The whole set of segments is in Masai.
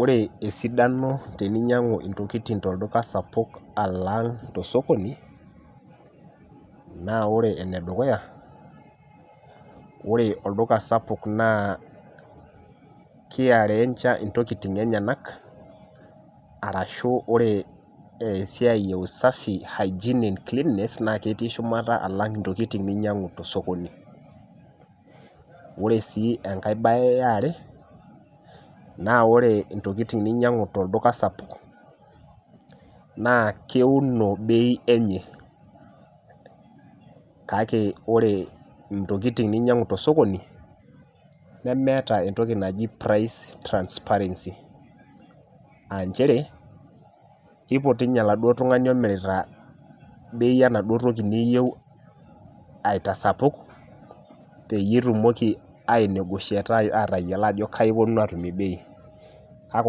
Oree sidano teninyangu ntokitin tolduka sapuk alang tosokoni, naa ore enedukuya oree olduka sapuk naa kaiarencha intokitin enyenak arashu ore esiai ee hygienic cleanliness naa ketii shumata alang' intokitin ninyang'u tosokoni, ore sii enkae baye iare naa oree intokitin ninyang'u torduka sapuk naa keuno beii enye kake ore intokitin ninyangu tosokoni nemeeta entoki naji price transparency aa nchere eiput doo ninye olaaduo tung'ani omirita beii enaduoo toki niyeu aitasapuk peyie itumoki atayiolo ajo kayii iponunu atumore beii, kake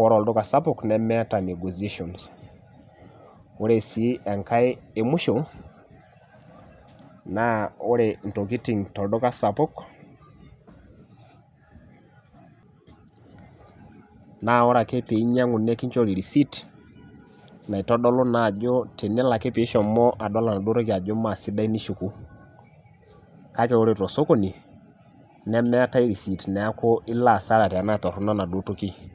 ore olduka sapuk nemeeta negotiations, oree sii enkae emusho naa oree intokitin tolduka sapuk naa ore ake pee inyang'u nikinchori recite naitodolu naa ajo tenelo ake pee ishomo adol anaduoo toki ajo maa sidai nishuku kake oree tosokoni nemeetae neeku meeta eniyas ata tenaa toronok enaduoo toki